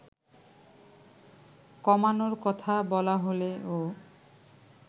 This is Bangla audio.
কমানোর কথা বলা হলেও